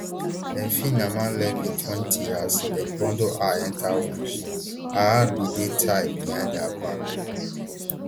dem feem naama levy twenty as dem bundle her enta one jeep her hands bin dey tied behind her back